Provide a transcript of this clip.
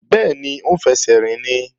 Bẹ́ẹ̀ni, ó ń fẹsẹ̀ rìn ni